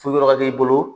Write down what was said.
So yɔrɔ ka k'i bolo